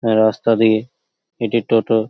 রাস্তা দিয়ে একটি টোটো --